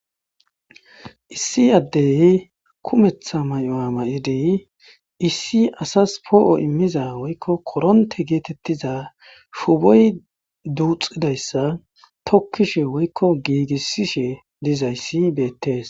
Issi addey kumeththa mayoza mayidi issi asas po'o immiza woykko koronte geetettiza shuuboy duuxxidayssa tokkishe woykko giigisishe dizays beettes.